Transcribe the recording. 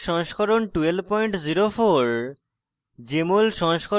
ubuntu os সংস্করণ 1204